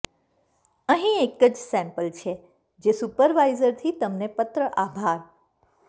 અહીં એક સેમ્પલ છે જે સુપરવાઈઝરથી તમને પત્ર આભાર